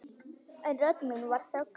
En rödd mín var þögnuð.